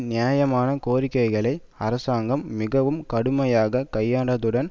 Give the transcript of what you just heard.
நியாயமான கோரிக்கைகளை அரசாங்கம் மிகவும் கடுமையாக கையாண்டதுடன்